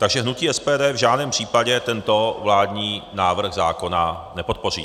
Takže hnutí SPD v žádném případě tento vládní návrh zákona nepodpoří.